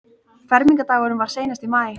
Fermingardagurinn var seinast í maí.